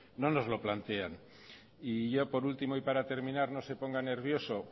no nos los plantean y ya por último y para terminar no se ponga nervioso